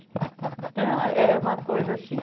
Então, é uma coisa assim.